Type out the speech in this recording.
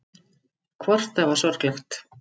Hvort það var sorglegt.